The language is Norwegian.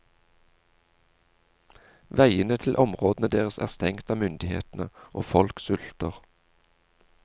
Veiene til områdene deres er stengt av myndighetene, og folk sulter.